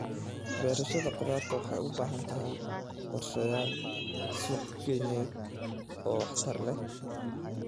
Beerashada khudaarta waxay u baahan tahay qorshayaal suuqgeyneed oo waxtar leh.